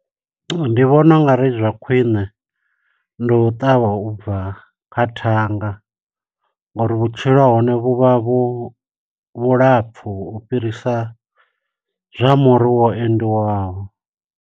Ndi vhona ungari zwa khwiṋe ndi u ṱavha ubva kha thanga, ngo uri vhutshilo ha hone vhu vha vhu vhulapfu u fhirisa zwa muri wa endiwaho.